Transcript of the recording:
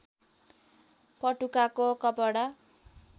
पटुकाको कपडा